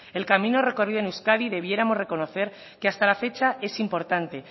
el camino recorrido en euskadi deberíamos reconocer que hasta la fecha es importante